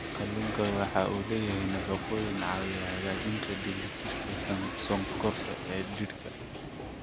Kalluunku waxa uu leeyahay nafaqooyin caawiya hagaajinta dheelitirka sonkorta ee jidhka.